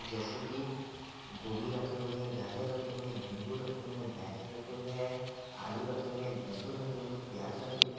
जैसे कि गोभी रखे हुए हैं गाजर रखे हुए हैं नींबू रखे हुए हैं बैगन रखे हुए हैं आलू रखे हुए हैं लहसुन रखे हुए हैं प्याज रखे हुए हैं।